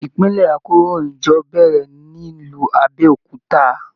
Ìpìlẹ àkòróyinjọ́ bẹrẹ nílu Abéòkúta.